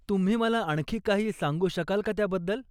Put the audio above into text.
तुम्ही मला आणखी काही सांगू शकाल का त्याबद्दल?